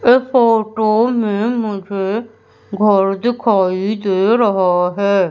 ए photo में मुझे घर दिखाई दे रहा है।